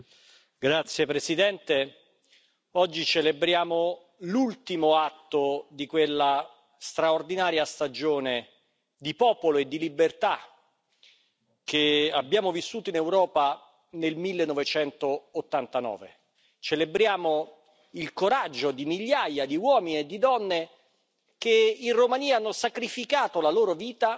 Signora Presidente, onorevoli colleghi, oggi celebriamo l'ultimo atto di quella straordinaria stagione di popolo e di libertà che abbiamo vissuto in Europa nel 1989. Celebriamo il coraggio di migliaia di uomini e donne, che in Romania hanno sacrificato la loro vita